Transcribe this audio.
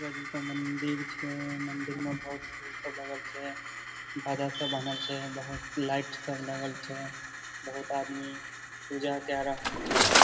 दुर्गा जी के मंदिर छै मंदिर मा बहुत फूल सब लगल छै बहुत लाइट सब लगल छै बहुत आदमी पूजा के रहल छै ।